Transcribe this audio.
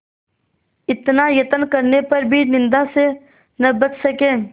इतना यत्न करने पर भी निंदा से न बच सके